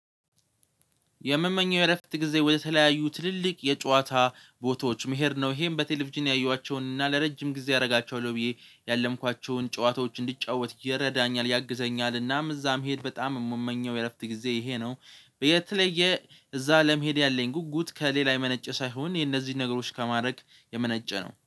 የምመኘው የእረፍት ጊዜ ወደተለያዩ ትልልቅ የጨዋታ ቦታዎች መሄድ ነው ይሄም በቴሌቪዥን ያየኋቸውን እና ለረጅም ጊዜ አደርጋቸዋለሁ ብዬ ያለምኳቸውን ጨዋታዎች እንድጫወት ይረዳኛል ያግዘኛል እናም እዛ መሄድ በጣም የምመኘው የእረፍት ጊዜ ይሄ ነው። የተለየ እዛ ለመሄድ ያለኝ ጉጉት ከሌላ የመነጨ ሳይሆን የነዚህን ነገሮች ከማድረግ የመነጨ ነው